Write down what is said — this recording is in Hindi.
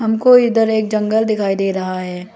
हमको इधर एक जंगल दिखाई दे रहा है।